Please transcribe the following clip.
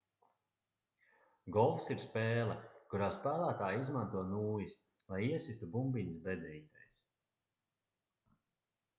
golfs ir spēle kurā spēlētāji izmanto nūjas lai iesistu bumbiņas bedrītēs